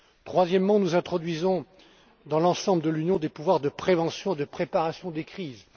Troisièmement, nous introduisons dans l'ensemble de l'Union des pouvoirs de prévention et de préparation des crises.